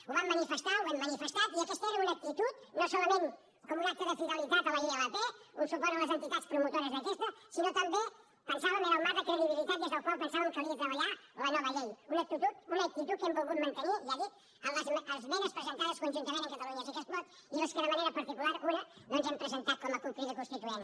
ho vam manifestar ho hem manifestat i aquesta era una actitud no solament com un acte de fidelitat a la ilp un suport a les entitats promotores d’aquesta sinó també ho pensàvem era el marc de credibilitat des del qual pensàvem que calia treballar la nova llei una actitud que hem volgut mantenir ja ho dic en les esmenes presentades conjuntament amb catalunya sí que es pot i les que de manera particular una doncs hem presentat com a cup crida constituent